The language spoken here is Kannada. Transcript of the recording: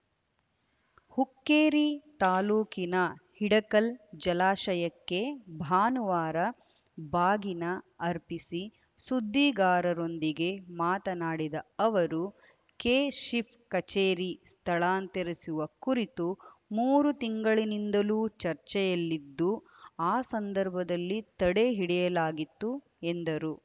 ಹುಕ್ಕೇರಿ ತಾಲೂಕಿನ ಹಿಡಕಲ್‌ ಜಲಾಶಯಕ್ಕೆ ಭಾನುವಾರ ಬಾಗಿನ ಅರ್ಪಿಸಿ ಸುದ್ದಿಗಾರರೊಂದಿಗೆ ಮಾತನಾಡಿದ ಅವರು ಕೆಶಿಪ್‌ ಕಚೇರಿ ಸ್ಥಳಾಂತರಿಸುವ ಕುರಿತು ಮೂರು ತಿಂಗಳಿನಿಂದಲೂ ಚರ್ಚೆಯಲ್ಲಿದ್ದು ಆ ಸಂದರ್ಭದಲ್ಲಿ ತಡೆ ಹಿಡಿಯಲಾಗಿತ್ತು ಎಂದರು